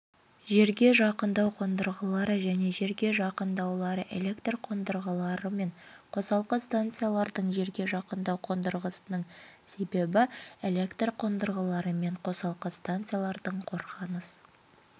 жерге жақындау қондырғылары және жерге жақындаулары электр қондырғылары мен қосалқы станциялардың жерге жақындау қондырғысының есебі электр қондырғылары мен қосалқы станциялардың қорғаныс